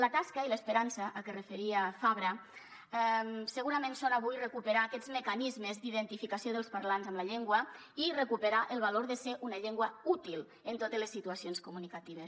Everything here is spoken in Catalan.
la tasca i l’esperança a què es referia fabra segurament són avui recuperar aquests mecanismes d’identificació dels parlants amb la llengua i recuperar el valor de ser una llengua útil en totes les situacions comunicatives